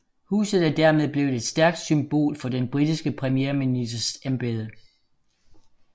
Huset er dermed blevet et stærkt symbol for den britiske premierministers embede